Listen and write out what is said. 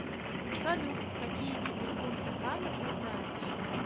салют какие виды пунта кана ты знаешь